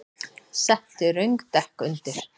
Settu röng dekk undir